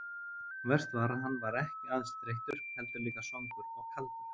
Verst var að hann var ekki aðeins þreyttur, heldur líka svangur og kaldur.